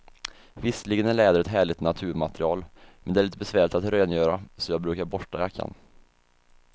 Visserligen är läder ett härligt naturmaterial, men det är lite besvärligt att rengöra, så jag brukar borsta jackan.